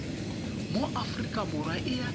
mo aforika borwa e a